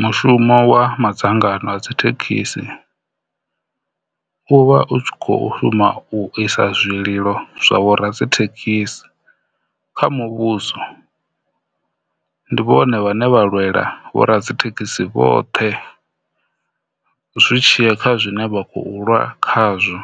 Mushumo wa madzangano a dzithekhisi u vha u tshi kho shuma u isa zwililo zwa vho radzithekhisi kha muvhuso ndi vhone vhane vha lwela vho radzithekhisi vhoṱhe zwi tshi ya kha zwine vha khiu lwa khazwo,